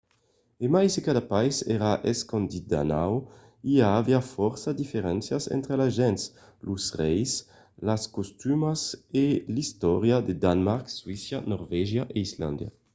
e mai se cada país èra 'escandinau' i aviá fòrça diferéncias entre las gents los reis las costumas e l’istòria de danemarc suècia norvègia e islàndia